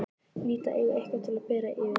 Ég hlýt að eiga eitthvað til að bera yfir.